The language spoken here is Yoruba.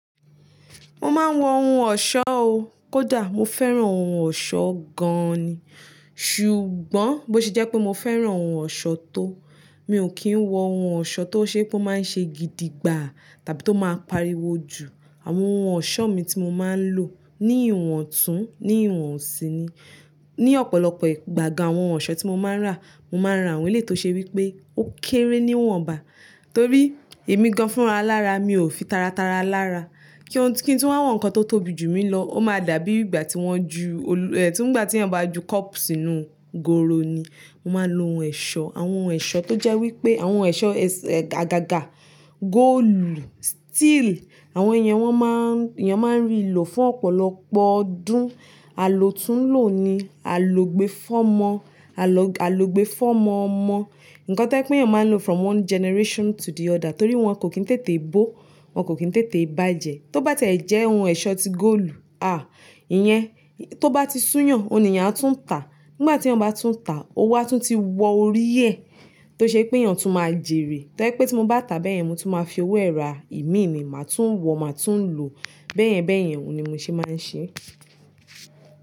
Mo máa ń wọ ohun ọ̀ṣọ́ o. Kódà mo fẹ́ràn ohun ọ̀ṣọ́ gan ni. Ṣùgbọ́n bó ṣe jẹ́ pé mo fẹ́ràn ohun ọ̀ṣọ́ tó, mi ò kí ń wọ ohun ọ̀ṣọ́ tó ṣe pé ó máa ń ṣe gidigba àti tó máa ń pariwo jù. Àwọn ohun ọ̀ṣọ́ mi tí mo máa ń lò ní ìwọ̀ntún, ní ìwọ̀nsí ni. Ni ọ̀pọ̀lọpọ̀ ìgbà gan, àwọn ọ̀ṣọ́ tí mo máa ń rà, mo máa ń rà àwọn eleyi tó ṣe wí pé ó kéré níwọ̀nba. Torí èmi gan-an fún ara lára, mi ò fi tara tara lára. Ki ohun tí, kí n tú wá wọ nǹkan tó tóbi jù mi lọ, ó máa dàbí ìgbà tí wọ́n ju, tí ń ìgbà tí wọ́n bá ju cup sínú goro ni. Mo máa ń lo ohun ẹ̀ṣọ́, àwọn ohun ẹ̀ṣọ́ tó jẹ́ wí pé àwọn ẹ̀ṣọ́ àgàgà, góòlù, steel, àwọn èèyàn wọ́n máa ń, èèyàn máa ń rí lò fún ọ̀pọ̀lọpọ̀ ọdún. Àlò tún lò ni, àló gbe fọ́ mọ, àló, àló gbe fọ́ mọ ọmọ. Ǹkan tí jẹ pé èèyàn máa ń lò from one generation to the other. Torí wọ́n kò ki n tètè bó, wọ́n kò ki n tètè bá jẹ. Tó bá tẹ̀ ẹ jẹ́ ohun ẹ̀ṣọ́ ti góòlù, à, ìyẹn, tó bá ti sún yàn, òun ní èèyàn a tún ta. Nígbà tí èèyàn bá tún tàá, owó a tún ti wọ orí ẹ̀, tó ṣe pé èèyàn tún máa jèrè. Toje wi pé tí mo bá tà bẹ̀yẹ́n, mo tún máa fi owó ẹ́ra ìmíini, màá tún wọ, màá tún lò. Bẹ́ẹ̀yẹn bẹ́ẹ̀yẹn, òun ni mo ṣe máa ń ṣe.